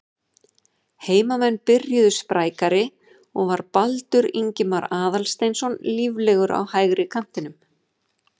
Heimamenn byrjuðu sprækari og var Baldur Ingimar Aðalsteinsson líflegur á hægri kantinum.